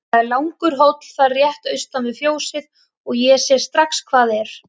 Það er langur hóll þar rétt austan við fjósið og ég sé strax hvað er.